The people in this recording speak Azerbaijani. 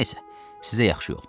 Nəysə, sizə yaxşı yol.